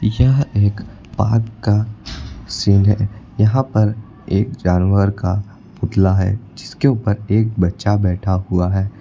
यह एक पार्क का सीन है यहां पर एक जानवर का पुतला है जिसके ऊपर एक बच्चा बैठा हुआ है।